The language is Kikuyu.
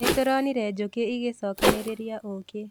Nĩtũronire njũkĩ igĩcokanĩrĩria ũkĩ